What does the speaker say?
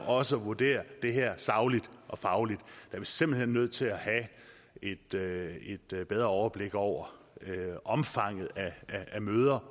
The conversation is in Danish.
også at vurdere det her sagligt og fagligt er vi simpelt hen nødt til at have et bedre overblik over omfanget af møder